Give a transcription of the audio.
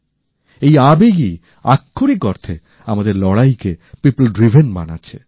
এই আবেগই আক্ষরিক অর্থে আমাদের লড়াই কে পিপল ড্রিভেন বানাচ্ছে